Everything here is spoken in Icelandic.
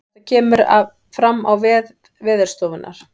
Þetta kemur fram á vef veðurstofunnar